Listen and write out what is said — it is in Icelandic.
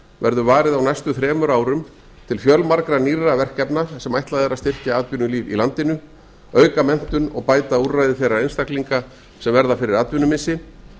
verður varið á næstu þremur árum til fjölmargra nýrra verkefna sem ætlað er að styrkja atvinnulíf í landinu auka menntun og bæta úrræði þeirra einstaklinga sem verða fyrir atvinnumissi